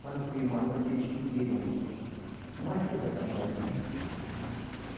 Quando foi uma noite, eles pediram um uma ajuda da marinha.